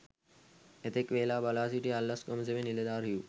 එතෙක් වේලා බලා සිටි අල්ලස් කොමිසමේ නිලධාරිහු